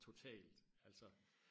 totalt altså